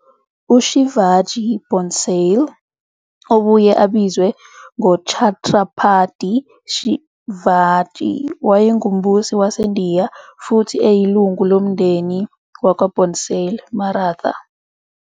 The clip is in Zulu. UShivaji Bhonsale I, iphimbo lesiMarathi- c.19 February 1630 - 3 April 1680, obuye abizwe ngoChhatrapati Shivaji, wayengumbusi waseNdiya futhi eyilungu lomndeni wakwaBhonsle Maratha.